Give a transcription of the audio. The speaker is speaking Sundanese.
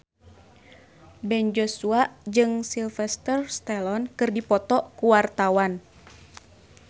Ben Joshua jeung Sylvester Stallone keur dipoto ku wartawan